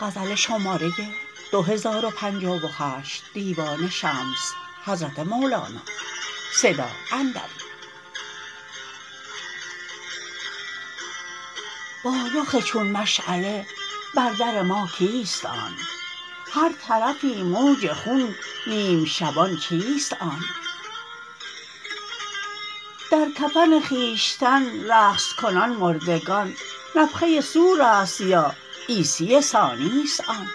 با رخ چون مشعله بر در ما کیست آن هر طرفی موج خون نیم شبان چیست آن در کفن خویشتن رقص کنان مردگان نفخه صور است یا عیسی ثانی است آن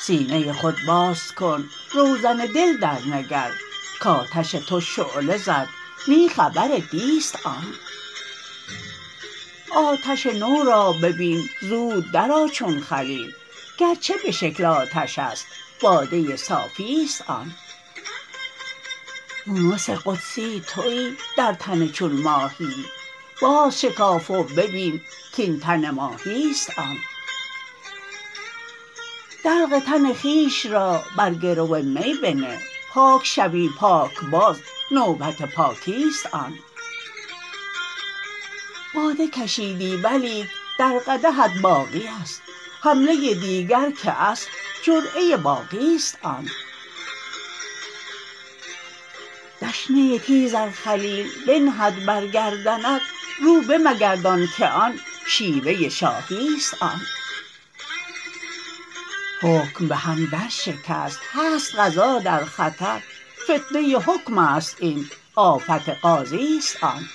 سینه خود باز کن روزن دل درنگر کآتش تو شعله زد نی خبر دی است آن آتش نو را ببین زود درآ چون خلیل گرچه به شکل آتش است باده صافی است آن یونس قدسی توی در تن چون ماهیی بازشکاف و ببین کاین تن ماهی است آن دلق تن خویش را بر گرو می بنه پاک شوی پاکباز نوبت پاکی است آن باده کشیدی ولیک در قدحت باقی است حمله دیگر که اصل جرعه باقی است آن دشنه تیز ار خلیل بنهد بر گردنت رو بمگردان که آن شیوه شاهی است آن حکم به هم درشکست هست قضا در خطر فتنه حکم است این آفت قاضی است آن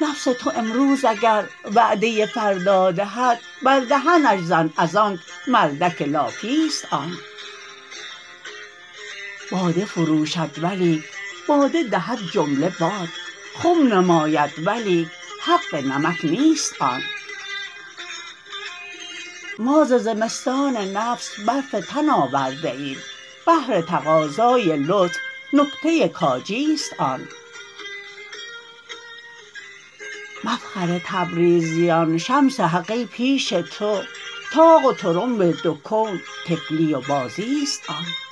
نفس تو امروز اگر وعده فردا دهد بر دهنش زن از آنک مردک لافی است آن باده فروشد ولیک باده دهد جمله باد خم نماید ولیک حق نمک نیست آن ما ز زمستان نفس برف تن آورده ایم بهر تقاضای لطف نکته کاجیست آن مفخر تبریزیان شمس حق ای پیش تو طاق و طرنب دو کون طفلی و بازی است آن